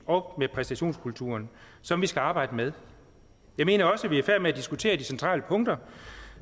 og med præstationskulturen som vi skal arbejde med jeg mener også at vi er i færd med at diskutere de centrale punkter